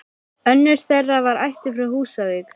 Önnur þeirra var ættuð frá Húsavík.